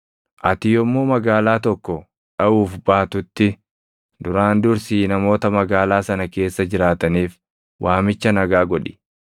Ati yommuu magaalaa tokko dhaʼuuf baatutti, duraan dursii namoota magaalaa sana keessa jiraataniif waamicha nagaa godhi.